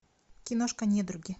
киношка недруги